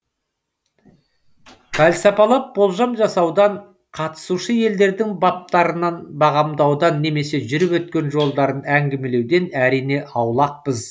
пәлсапалап болжам жасаудан қатысушы елдердің баптарын бағамдаудан немесе жүріп өткен жолдарын әңгімелеуден әрине аулақпыз